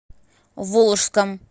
волжском